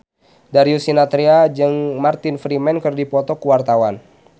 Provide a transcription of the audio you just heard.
Darius Sinathrya jeung Martin Freeman keur dipoto ku wartawan